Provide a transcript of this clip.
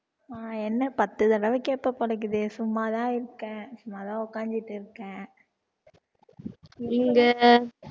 நான் என்ன பத்து தடவை கேட்ப போல இருக்குதே, சும்மாதான் இருக்கேன் சும்மாதான் உட்கார்ந்துட்டுருக்கேன் நீங்க